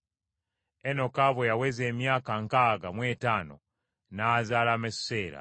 Enoka bwe yaweza emyaka nkaaga mu etaano n’azaala Mesuseera.